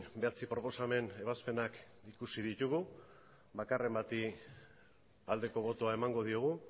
bederatzi proposamen ebazpenak ikusi ditugu bakarren bati aldeko botoa emango diogu